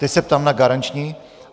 Teď se ptám na garanční.